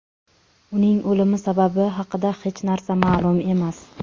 Uning o‘limi sababi haqida hech narsa ma’lum emas.